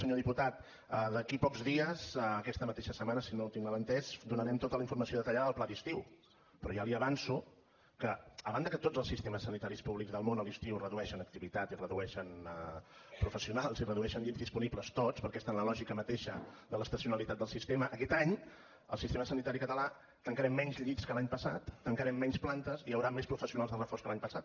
senyor diputat d’aquí a pocs dies aquesta mateixa setmana si no ho tinc mal entès donarem tota la informació detallada del pla d’estiu però ja li avanço que a banda que tots els sistemes sanitaris públics del món a l’estiu redueixen activitat i redueixen professionals i redueixen llits disponibles tots perquè està en la lògica mateixa de l’estacionalitat del sistema aquest any al sistema sanitari català tancarem menys llits que l’any passat tancarem menys plantes i hi hauran més professionals de reforç que l’any passat